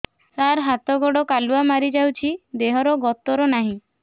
ସାର ହାତ ଗୋଡ଼ କାଲୁଆ ମାରି ଯାଉଛି ଦେହର ଗତର ନାହିଁ